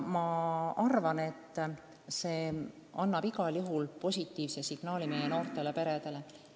Nüüd anname igal juhul meie noortele peredele positiivse signaali.